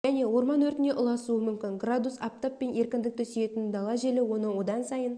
және орман өртіне ұласуы мүмкін градус аптап пен еркіндікті сүйетін дала желі оны одан сайын